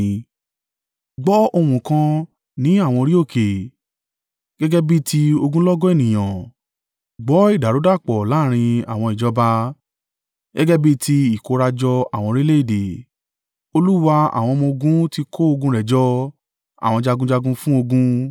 Gbọ́ ohùn kan ní àwọn orí òkè, gẹ́gẹ́ bí i ti ogunlọ́gọ̀ ènìyàn. Gbọ́ ìdàrúdàpọ̀ láàrín àwọn ìjọba, gẹ́gẹ́ bí i ti ìkórajọ àwọn orílẹ̀-èdè! Olúwa àwọn ọmọ-ogun ti kó ogun rẹ̀ jọ àwọn jagunjagun fún ogun.